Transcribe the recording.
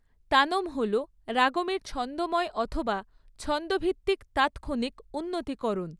তানম্ হল রাগমের ছন্দময় অথবা ছন্দভিত্তিক তাৎক্ষণিক উন্নতিকরণ।